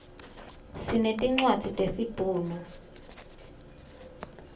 sinetincwadzi tesibhunu